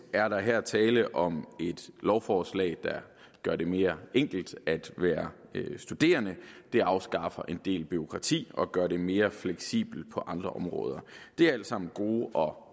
er der her tale om et lovforslag der gør det mere enkelt at være studerende det afskaffer en del bureaukrati og gør det mere fleksibelt på andre områder det er alt sammen gode og